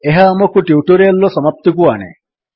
ଏହା ଆମକୁ ଟ୍ୟୁଟୋରିଆଲ୍ ର ସମାପ୍ତିକୁ ଆଣେ